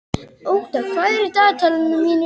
Ótta, hvað er í dagatalinu mínu í dag?